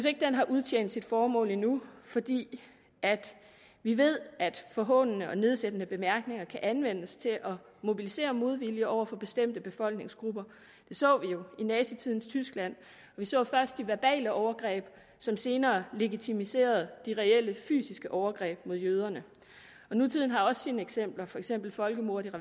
at den har udtjent sit formål endnu fordi vi ved at forhånende og nedsættende bemærkninger kan anvendes til at mobilisere modvilje over for bestemte befolkningsgrupper det så vi jo i nazitidens tyskland vi så først de verbale overgreb som senere legitimerede de reelle fysiske overgreb mod jøderne nutiden har også sine eksempler for eksempel folkemordet